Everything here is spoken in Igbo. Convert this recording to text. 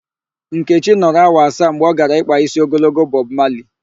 Nkechi nọrọ awa asaa mgbe ọ gara ịkpa ísí ogologo Bọb Mali.